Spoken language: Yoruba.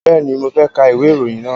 Bẹ́ẹ̀ni, mo fẹ́ ka ìwé ìròyìn náà